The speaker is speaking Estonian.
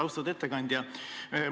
Austatud ettekandja!